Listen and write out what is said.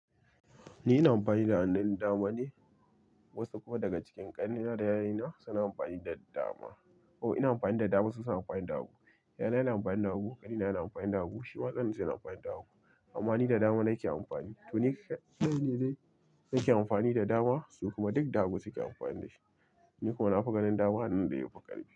Ni ina amfani da hannun dama ne, wasu kuma daga cikin ƙannena da yayuna suna amfani da dama. Oh, ina amfani da dama su suna amfani da hagu. Yayana yana amfani da hagu, ƙanina yana amfani da hagu, shima ƙaninsa yana amfani da hagu amma ni da dama na ke amfani. To ni kaɗai ne dai nake amfani da dama su kuma duk da hagu suke amfani da shi. Ni kuma na fi ganin dama hannun da yafi ƙarfi.